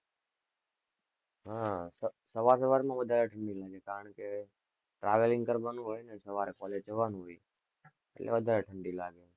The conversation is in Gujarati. હમ સવાર-સવારમાં વધારે ઠંડી લાગે, કારણ કે travelling કરવાનું હોય, ને સવારે college જવાનું હોય, એટલે વધારે ઠંડી લાગે.